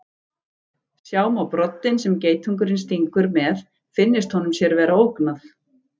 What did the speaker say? Sjá má broddinn sem geitungurinn stingur með finnist honum sér vera ógnað.